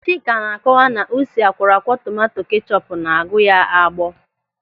Chika na-akọwa na usi akwọrọakwọ tomanto kechọpu na-aghu ya agbọọ.